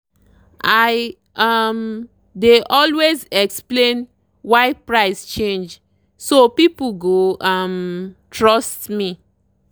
i um dey always explain why price change so people go um trust me.